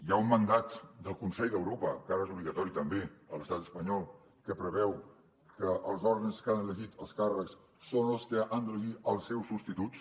hi ha un mandat del consell d’europa que ara és obligatori també a l’estat espanyol que preveu que els òrgans que han elegit els càrrecs són els que han d’elegir els seus substituts